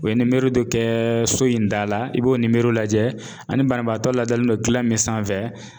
O ye dɔ kɛ so in da la i b'o ni lajɛ ani banabaatɔ ladalen don gilan min sanfɛ.